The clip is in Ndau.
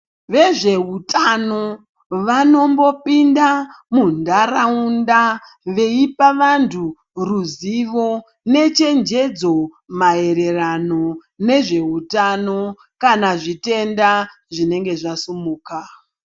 Vezveutano vanombopinda muntaraunda veipa vantu ruzivo nechenjedzo maererano nezveutano kana zvitenda zvinenge zvasumuka.